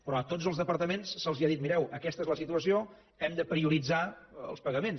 però a tots els departaments se’ls ha dit mireu aquesta és la situació hem de prioritzar els pagaments